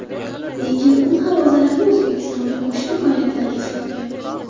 Lekin u havozalarni O‘zbekistonga qo‘shni viloyatlarga sotgan.